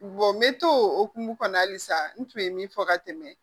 n bɛ to o hukumu kɔnɔ halisa n tun ye min fɔ ka tɛmɛ